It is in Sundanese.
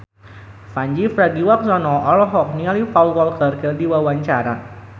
Pandji Pragiwaksono olohok ningali Paul Walker keur diwawancara